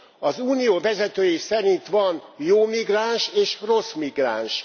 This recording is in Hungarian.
Az Unió vezetői szerint van jó migráns és rossz migráns.